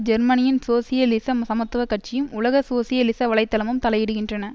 ஜெர்மனியின் சோசியலிசம் சமத்துவ கட்சியும் உலக சோசியலிச வலை தளமும் தலையிடுகின்றன